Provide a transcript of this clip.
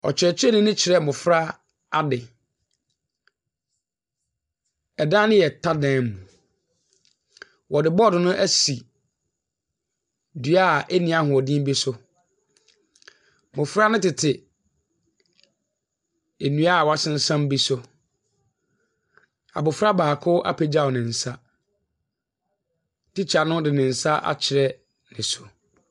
Ɔkyerɛkyerɛni no kyerɛ mmɔfra ade. Ɛdan no yɛ ta dan mu. Ɔde board no ɛsi dua eni ahoɔden bi so. Mmɔfra no tete nnua woasensam bi so. Abrɔfra baako apegyaw nensa. Teacher no de nensa akyerɛ no so.